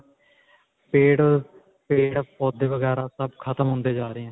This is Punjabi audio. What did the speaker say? ਪੇੜ, ਪੇੜ-ਪੌਦੇ ਵਗੈਰਾ ਸਭ ਖ਼ਤਮ ਹੁੰਦੇ ਜਾਂ ਰਹੇ ਹੈ.